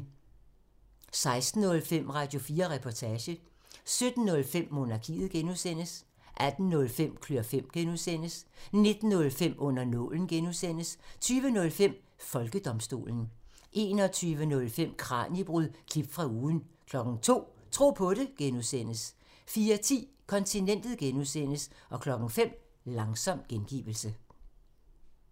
16:05: Radio4 Reportage 17:05: Monarkiet (G) 18:05: Klør fem (G) 19:05: Under nålen (G) 20:05: Folkedomstolen 21:05: Kraniebrud – klip fra ugen 02:00: Tro på det (G) 04:10: Kontinentet (G) 05:00: Langsom gengivelse